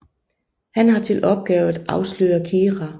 Han har til opgave at afsløre Kira